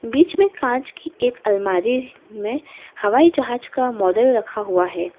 बीच में कांच की एक अलमारी में हवाई जहाज का मॉडल रखा हुआ है।